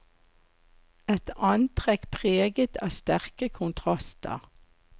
Et antrekk preget av sterke kontraster.